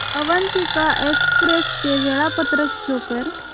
Avantika express चे वेळापत्रक show कर